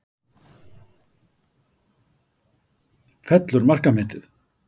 Fellur markametið?